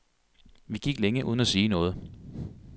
Vi gik længe uden at sige noget.